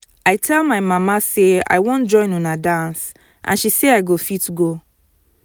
i tell my mama say i wan join una dance and she say i go fit go